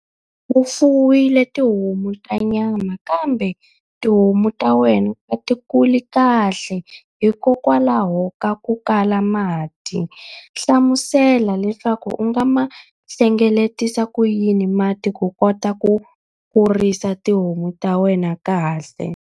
U fuwile tihomu ta nyama kambe tihomu ta wena a ti kuli kahle hikokwalaho ka ku kala ka mati. Hlamusela leswaku u nga ma hlengeletisa ku yini mati ku kota ku kurisa tihomu ta wena kahle.